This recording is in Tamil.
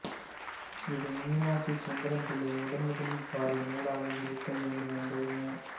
இது மீனாட்சி சுந்தரம்பிள்ளை முதன்முதலில் பாடிய நூலாக இருத்தல் வேண்டும் என்பது மு